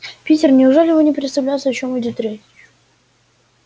питер неужели вы не представляете о чём идёт речь